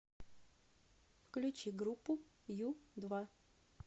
включи группу ю два